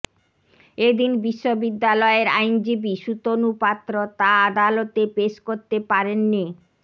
এদিন বিশ্ববিদ্যালয়ের আইনজীবী সুতনু পাত্র তা আদালতে পেশ করতে পারেননি